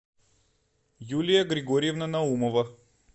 юлия григорьевна наумова